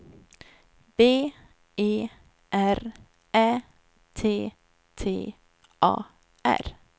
B E R Ä T T A R